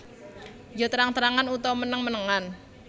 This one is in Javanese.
Ya terang terangan utawa meneng menengan